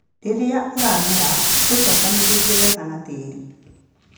Rĩrĩa ũramera, ũcokanĩrĩrie wega na tĩĩri.